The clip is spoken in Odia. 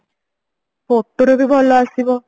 photo ରେ ବି ଭଲ ଆସିବ